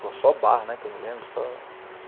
Pô, só bar, né, que eu me lembro, só